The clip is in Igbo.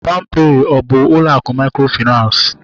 Palm pay a bụ ụlọ akụ mikrofinansi?